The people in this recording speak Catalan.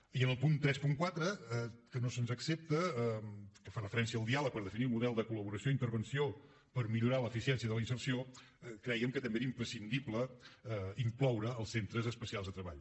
i en el punt trenta quatre que no se’ns accepta que fa referència al diàleg per definir un model de col·laboració i intervenció per millorar l’eficiència de la inserció creiem que també era imprescindible incloure els centres especials de treball